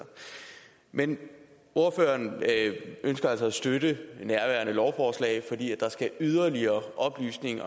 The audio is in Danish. men ordføreren ønsker altså at støtte nærværende lovforslag fordi der skal yderligere oplysning